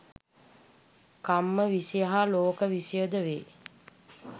කම්ම විෂය හා ලෝක විෂයයද වේ.